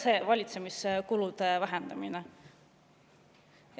See ongi see valitsemiskulude vähendamine!